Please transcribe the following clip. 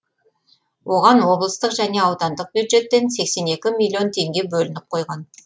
оған облыстық және аудандық бюджеттен сексен екі миллион теңге бөлініп қойған